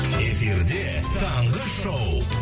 эфирде таңғы шоу